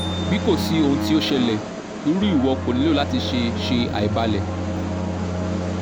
bi ko si ohun ti o ṣẹlẹ iru iwọ ko nilo lati ṣe ṣe aibalẹ